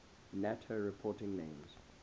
nato reporting names